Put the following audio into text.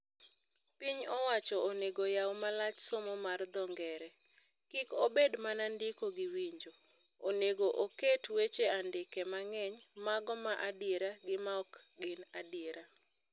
Piny owacho onego yau malach somo mar dho ngere. Kik obed mana ndiko gi winjo. Onego oket weche andike mang'eny, mago ma adiera gi maokgin adiera.